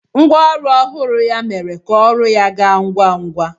Ngwa ọrụ ọhụrụ ya mere ka ọrụ ya gaa ngwa ngwa.